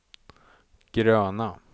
gröna